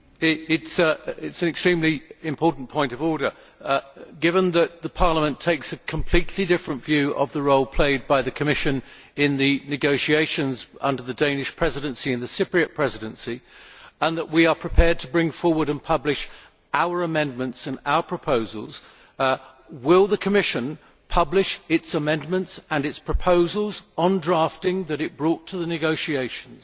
Mr President, it is an extremely important point of order. Given that Parliament takes a completely different view of the role played by the Commission in the negotiations under the Danish Presidency and the Cypriot Presidency, and that we are prepared to bring forward and publish our amendments and our proposals, will the Commission publish its amendments and its proposals on drafting that it brought to the negotiations?